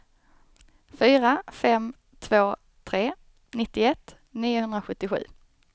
fyra fem två tre nittioett niohundrasjuttiosju